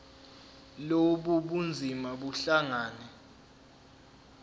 lobu bunzima buhlangane